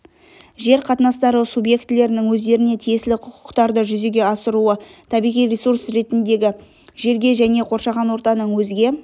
жер қатынастары субъектілерінің өздерніе тиесілі құқықтарды жүзеге асыруы табиғи ресурс ретіндегі жерге және қоршаған ортаның өзге